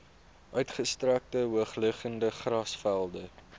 uitgestrekte hoogliggende grasvelde